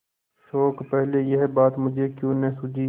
शोक पहले यह बात मुझे क्यों न सूझी